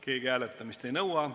Keegi hääletamist ei nõua.